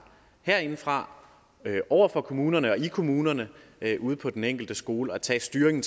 herindefra over for kommunerne og i kommunerne ude på den enkelte skole at tage styringen